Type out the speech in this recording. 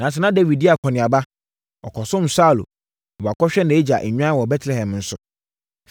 nanso, na Dawid di akɔneaba; ɔkɔsom Saulo na wakɔhwɛ nʼagya nnwan wɔ Betlehem nso.